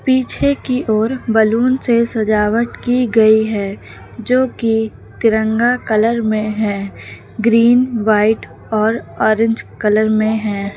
पीछे की ओर बलून से सजावट की गई है जो कि तिरंगा कलर में है ग्रीन वाइट और ऑरेंज कलर में है।